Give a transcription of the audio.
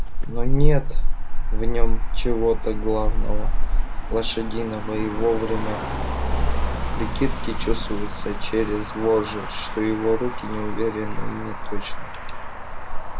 но нет в нем чего-то главного лошадиного и во время прикидки чувствуется через вожжи что его руки неуверенны и неточны